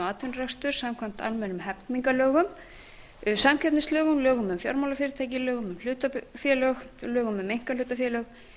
atvinnurekstur samkvæmt almennum hegningarlögum samkeppnislögum lögum um fjármálafyrirtæki lögum um hlutafélög lögum um einkahlutafélög